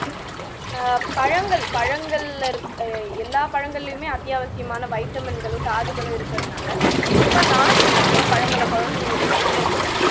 ஆஹ் பழங்கள் பழங்கள்ல இருக் எல்லா பழங்களிலுமே அத்தியாவசியமான vitamin களும் தாதுகளும் இருக்கதுனால குறிப்பா நார்சத்து உள்ள பழங்களை குழந்தைங்களுக்கு கொடுத்தோம்னா